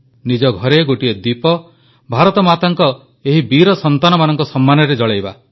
ନିଜ ଘରେ ଗୋଟିଏ ଦୀପ ଭାରତମାତାଙ୍କ ଏହି ବୀର ସନ୍ତାନମାନଙ୍କ ସମ୍ମାନରେ ଜଳାଇବା